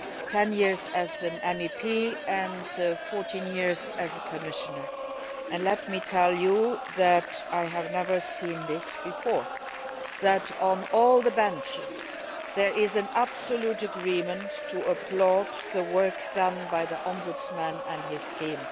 Ten years as an MEP and 14 years as a Commissioner, and let me tell you that I have never seen this before that on all the benches there is an absolute agreement to applaud the work done by the Ombudsman and his team.